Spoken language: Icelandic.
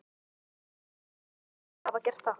Af hverju í ósköpunum ætti hann að hafa gert það?